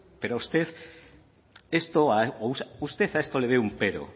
pero a usted a esto le ve un pero